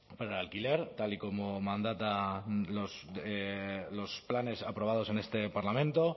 para el alquiler tal y como mandatan los planes aprobados en este parlamento